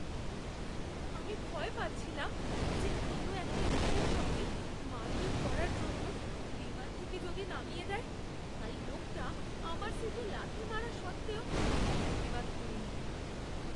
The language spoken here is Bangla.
আমি ভয় পাচ্ছিলাম যে অন্য একটা লোকের সঙ্গে মারপিট করার জন্য বিমান থেকে যদি নামিয়ে দেয়, তাই লোকটা আমার সিটে লাথি মারা সত্ত্বেও আমি প্রতিবাদ করিনি।